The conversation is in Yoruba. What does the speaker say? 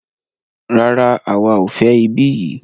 Rárá, àwa o fẹ ibí yìí.